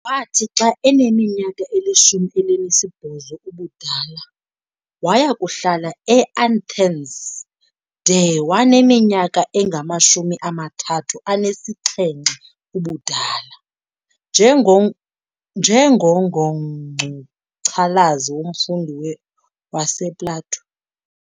Wathi xa aminyaka ilishumi elinesibhozo ubudala, waya kuhlala eAnthens de waneminyaka engamashumi amathathu anesixhenxe ubudala, njengo njengo ngomngcucalazi nomfundi wasePlato.